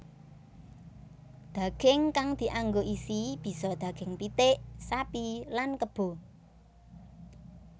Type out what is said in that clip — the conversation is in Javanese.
Daging kang dianggo isi bisa daging pitik sapi lan kebo